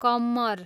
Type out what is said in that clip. कम्मर